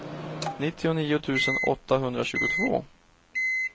nittionio tusen åttahundratjugotvå